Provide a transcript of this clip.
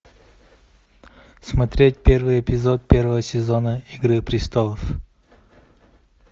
смотреть первый эпизод первого сезона игры престолов